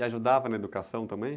E ajudava na educação também?